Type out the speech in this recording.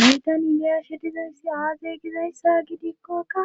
Maydan iliyashe dizaysi aaze gizayssa gidikkokka